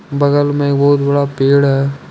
बगल में बहुत बड़ा पेड़ है।